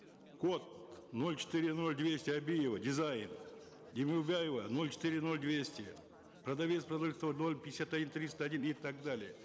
код ноль четыре ноль двести абиева дизайн демеубаева ноль четыре ноль двести продавец продуктов ноль пятьдесят один триста один и так далее